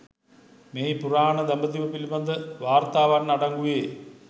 මෙහි පුරාණ දඹදිව පිළිබඳ වාර්තාවන් අඩංගු වේ